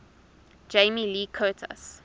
jamie lee curtis